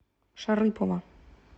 шарыпово